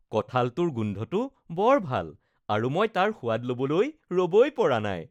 কঁঠালটোৰ গোন্ধটো বৰ ভাল আৰু মই তাৰ সোৱাদ ল’বলৈ ৰ'বই পৰা নাই